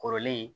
Kɔrɔlen